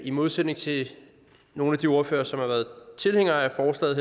i modsætning til nogle af de ordførere som har været tilhængere af forslaget